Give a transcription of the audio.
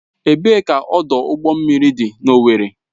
Ebee ka ọdụ ụgbọ mmiri dị n'Owerri?